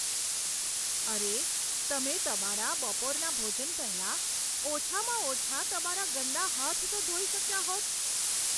અરે, તમે તમારા બપોરના ભોજન પહેલાં ઓછામાં ઓછા તમારા ગંદા હાથ તો ધોઈ શક્યા હોત.